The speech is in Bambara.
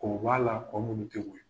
K'o bɔ a la , kɔ minnu tɛ